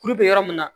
Kuru be yɔrɔ min na